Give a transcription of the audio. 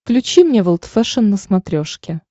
включи мне волд фэшен на смотрешке